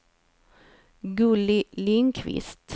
Gulli Lindqvist